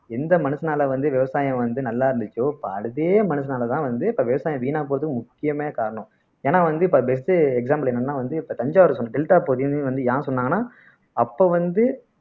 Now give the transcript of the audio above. எந்த மனுஷனால வந்து விவசாயம் வந்து நல்லா இருந்துச்சோ இப்ப அதே மனுஷனாலதான் வந்து இப்ப விவசாயம் வீணா போகுது முக்கியமே காரணம் ஏன்னா வந்து இப்ப best example என்னன்னா வந்து இப்ப தஞ்சாவூர் டெல்டா பகுதியுமே வந்து ஏன் சொன்னாங்கன்னா அப்ப வந்து